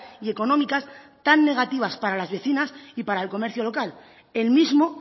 y económicas tan negativas para las vecinas y para el comercio local el mismo